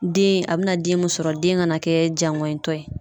Den a be na den mun sɔrɔ, den ka na kɛ jaŋɔɲitɔ ye.